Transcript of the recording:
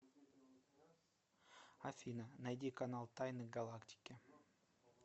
афина найди канал тайны галактики